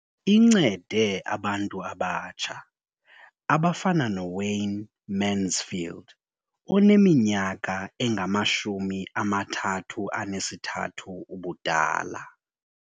Incede abantu abatsha abafana noWayne Mansfield oneminyaka engama-33 ubudala.